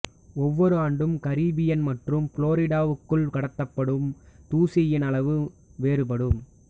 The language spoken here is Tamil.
ஒவ்வொரு ஆண்டும் கரீபியன் மற்றும் புளோரிடாவுக்குள் கடத்தப்படும் தூசியின் அளவு வேறுபடும்